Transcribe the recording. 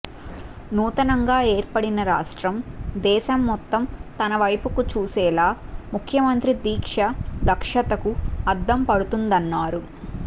నూతనంగా ఏర్పడిన రాష్ట్రం దేశం మొత్తం తన వైపుకు చూసేలా ముఖ్యమంత్రి దీక్ష దక్షతకు అద్దం పడుతుందన్నారు